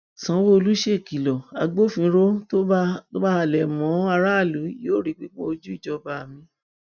sanwóolú ṣèkìlọ agbófinró tó bá halẹ mọ aráàlú yóò rí pípọn ojú ìjọba mi